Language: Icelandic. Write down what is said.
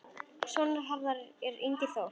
Sonur Harðar er Ingi Þór.